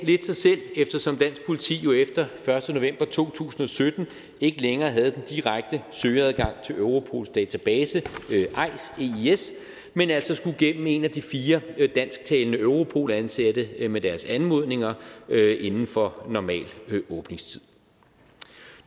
lidt sig selv eftersom dansk politi jo efter første november to tusind og sytten ikke længere havde den direkte søgeadgang til europols database eis men altså skulle igennem en af de fire dansktalende europol ansatte med deres anmodninger inden for normal åbningstid